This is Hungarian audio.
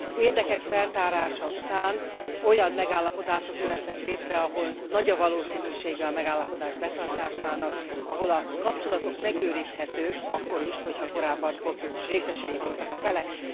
Az érdekek feltárása után olyan megállapodások jöhetnek létre, ahol nagy a valószínűsége a megállapodás betartásának, ahol a kapcsolatok megőrizhetők akkor is, ha korábban konfliktus részesei voltak a felek.